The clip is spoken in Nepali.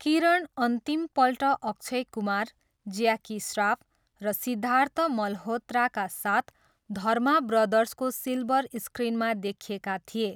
किरण अन्तिमपल्ट अक्षय कुमार, ज्याकी श्राफ र सिद्धार्थ मल्होत्राका साथ धर्मा ब्रदर्सको सिल्वर स्क्रिनमा देखिएका थिए।